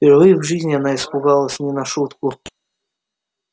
впервые в жизни она испугалась не на шутку